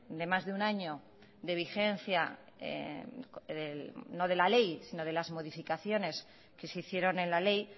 de más de un año de vigencia no de la ley sino de las modificaciones que se hicieron en la ley